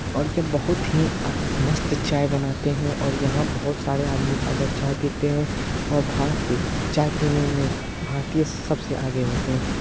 और ये बहुत ही आ मस्त चाय बनाते हैं और यहां और बहुत सारे आदमी जाकर चाय पीते हैं। और भारत की चाय पीने में भारतीय सबसे आगे होते हैं।